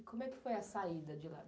E como é que foi a saída de lá?